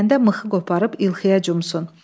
İstəyəndə mıxı qoparıb ilxıya cumsun.